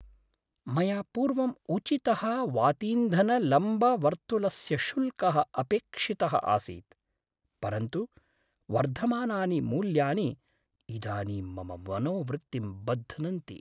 मया पूर्वम् उचितः वातीन्धनलम्बवर्तुलस्य शुल्कः अपेक्षितः आसीत् परन्तु वर्धमानानि मूल्यानि इदानीं मम मनोवृत्तिं बध्नन्ति।